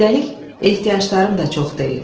Üstəlik, ehtiyaclarım da çox deyil.